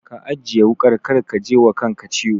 Ka ajiye wuƙar kar ka jiwa kanka ciwo.